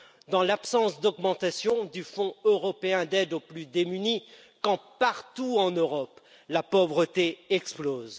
Dans l'absence d'augmentation du Fonds européen d'aide aux plus démunis quand, partout en Europe, la pauvreté explose?